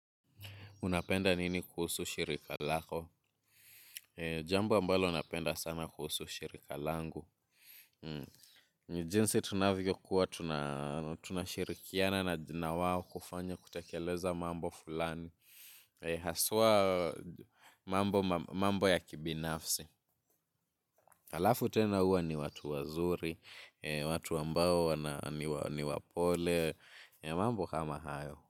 Unapenda nini kuhusu shirika lako? Jambu ambalo napenda sana kuhusu shirika langu. Ni jinsi tunavyo kuwa tunashirikiana nawao kufanya kutakeleza mambo fulani. Haswa mambo ya kibinafsi. Halafu tena huwa ni watu wazuri, watu ambao ni wapole, mambo kama hayo.